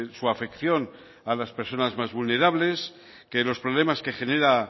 su afección a las personas más vulnerables que los problemas que genera